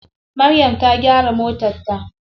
Maryam ta gyara motar ta.